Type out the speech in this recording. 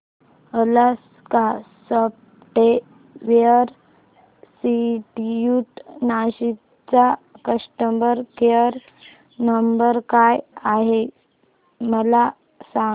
Alaska software institute Nashik चा customer care number काय आहे मला सांग